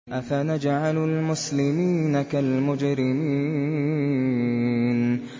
أَفَنَجْعَلُ الْمُسْلِمِينَ كَالْمُجْرِمِينَ